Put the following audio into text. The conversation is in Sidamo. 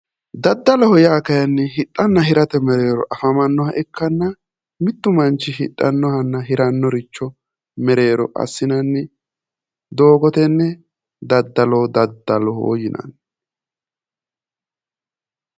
Daddaloho yaa kayiinni hidhanna hiramate mereero afamannoha ikkanna mittu manchi hidhannohanna hirannoricho mereero assinanni doogotenni dadalo daddaloho yinanni